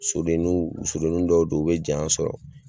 Soden nuw so dennuw dɔw do u be janya sɔrɔ